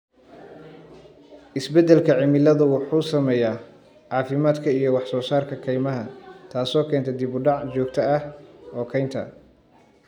Isbeddelka cimiladu wuxuu saameeyaa caafimaadka iyo wax soo saarka kaymaha, taasoo keenta dib u dhac joogta ah oo kaynta.